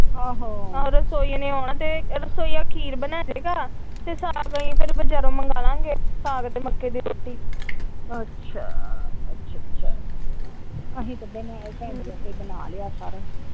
ਆਹੋ ਰਸੋਈ ਵੱਲ ਆਉਣਾ ਖੀਰ ਬਣਾਦੇਗਾ ਸਾਗ ਅਸੀਂ ਬਜ਼ਾਰੋਂ ਮੰਗਵਾਲਾਗੇ ਸਾਗ ਤੇ ਮੱਕੀ ਦੀ ਰੋਟੀ ।